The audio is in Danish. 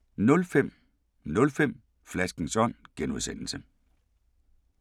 05:05: Flaskens Ånd (G)